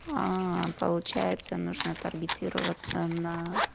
аа получается нужно таргетироваться на